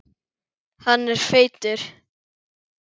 Hann er feitur.